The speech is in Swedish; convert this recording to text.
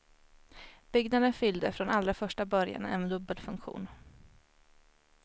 Byggnaden fyllde från allra första början en dubbel funktion.